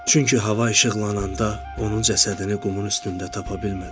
Çünki hava işıqlananda onun cəsədini qumun üstündə tapa bilmədim.